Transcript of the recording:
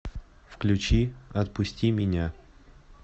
включи отпусти меня